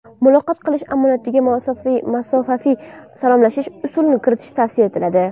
Muloqot qilish amaliyotiga masofaviy salomlashish usulini kiritish tavsiya etiladi.